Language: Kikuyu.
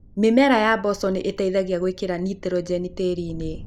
Mĩmera ya mboco nĩ ĩteithagia gwĩkĩra nĩtrũgeni tĩĩrinĩ.